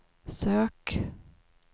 sök